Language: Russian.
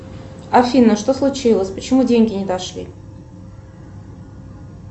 афина что случилось почему деньги не дошли